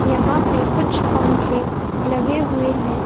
यहां पे कुछ पंखे लगे हुए है।